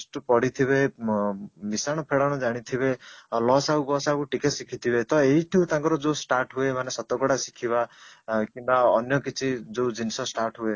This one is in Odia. ଠୁ ପଢ଼ିଥିବେ ମିଶାଣ ଫେଡ଼ାଣ ଜାଣିଥିବେ ଆଉ ଲସାଗୁ ଗସାଗୁ ଟିକେ ଶିଖିଥିବେ ତ ଏଇଠୁ ତାଙ୍କର ଯୋଉ start ହୁଏ ମାନେ ଶତକଡା ଶିଖିବା କିମ୍ବା ଅନ୍ୟ କିଛି ଯୋଉ ଜିନିଷ start ହୁଏ